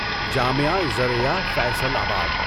جامعہ زرعیہ فیصل اباد